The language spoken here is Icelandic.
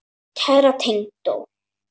Kæra tengdó.